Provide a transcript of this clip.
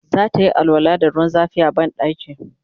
zatayi alwala da ruwan zafi a banɗaki